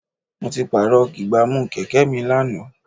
Mo ti pààrọ̀ ìgbámú Kẹ̀kẹ́ mi lánàá.